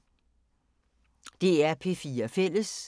DR P4 Fælles